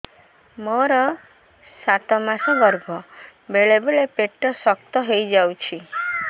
ମୋର ସାତ ମାସ ଗର୍ଭ ବେଳେ ବେଳେ ପେଟ ଶକ୍ତ ହେଇଯାଉଛି